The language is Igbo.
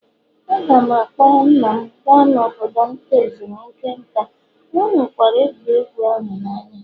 Aga m a kpọọrọ nna m gaa n'obodo nta ezumike nka, ọ hụkwara egwuregwu ahụ n'anya